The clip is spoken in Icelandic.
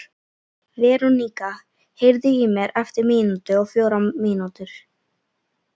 Verónika, heyrðu í mér eftir níutíu og fjórar mínútur.